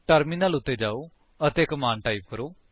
terminal ਉੱਤੇ ਜਾਓ ਅਤੇ ਕਮਾਂਡ ਟਾਈਪ ਕਰੋ